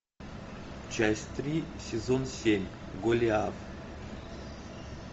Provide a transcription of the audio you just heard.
часть три сезон семь голиаф